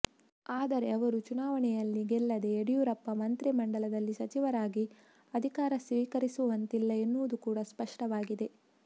ಆದರೆ ಅವರು ಚುನಾವಣೆಯಲ್ಲಿ ಗೆಲ್ಲದೆ ಯಡಿಯೂರಪ್ಪ ಮಂತ್ರಿ ಮಂಡಲದಲ್ಲಿ ಸಚಿವರಾಗಿ ಅಧಿಕಾರ ಸ್ವೀಕರಿಸುವಂತಿಲ್ಲ ಎನ್ನುವುದು ಕೂಡ ಸ್ಪಷ್ಟವಾಗಿದೆ